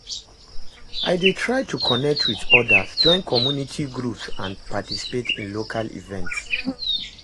I dey try to connect with odas, join community groups and participate in local events.